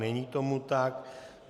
Není tomu tak.